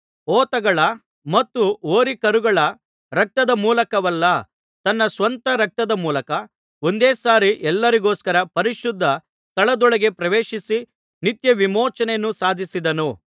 ಹೋತಗಳ ಮತ್ತು ಹೋರಿಕರುಗಳ ರಕ್ತದ ಮೂಲಕವಲ್ಲ ತನ್ನ ಸ್ವಂತ ರಕ್ತದ ಮೂಲಕ ಒಂದೇ ಸಾರಿ ಎಲ್ಲರಿಗೋಸ್ಕರ ಪರಿಶುದ್ಧ ಸ್ಥಳದೊಳಗೆ ಪ್ರವೇಶಿಸಿ ನಿತ್ಯ ವಿಮೋಚನೆಯನ್ನು ಸಾಧಿಸಿದನು